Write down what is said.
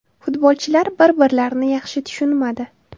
Futbolchilar bir-birlarini yaxshi tushunmadi.